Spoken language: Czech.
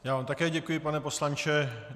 Já vám také děkuji, pane poslanče.